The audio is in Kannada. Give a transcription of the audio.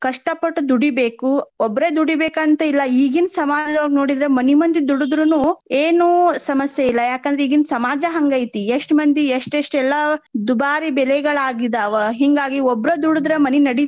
ಕಷ್ಟ ಪಟ್ ದುಡಿಬೇಕು ಒಬ್ರ ದೂಡಿಬೇಕಂತಿಲ್ಲಾ ಈಗಿನ್ ಸಮಾಜದೊಳ್ಗ ನೋಡಿದ್ರ ಮನಿ ಮಂದಿ ದುಡಿದ್ರುನು ಏನು ಸಮಸ್ಯೆ ಇಲ್ಲ. ಯಾಕಂದ್ರೆ ಈಗಿನ್ ಸಮಾಜ ಹಂಗ ಐತಿ. ಎಷ್ಟ್ ಮಂದಿ ಎಷ್ಟೇಷ್ಟ ಎಲ್ಲಾ ದುಭಾರಿ ಬೆಳೆಗಳಾಗಿದಾವ. ಹಿಂಗಾಗಿ ಒಬ್ರ ದುಡದ್ರ ಮನಿ ನಡಿತೇತಿ.